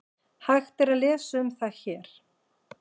Hægt er að lesa um það HÉR.